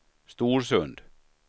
Storsund